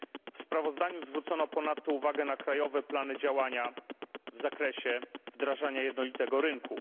W sprawozdaniu zwrócono ponadto uwagę na krajowe plany działania w zakresie wdrażania jednolitego rynku.